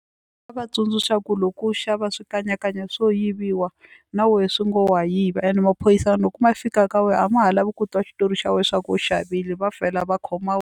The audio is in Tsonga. Nga va tsundzuxa ku loko u xava swikanyakanya swo yiviwa na wehe swi ngo wa yiva ene maphorisaya loko ma fika ka wena a ma ha lavi ku twa xitori xa wena swa ku u xavile va vhela va khoma .